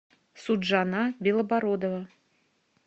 суджана белобородова